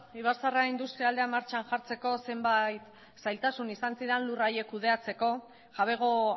ibarzaharra industrialdea martxan jartzeko zenbait zailtasun izan ziren lurra haiek kudeatzeko jabego